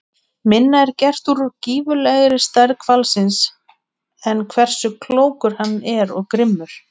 Minna er gert úr gífurlegri stærð hvalsins en hversu klókur hann er og grimmur.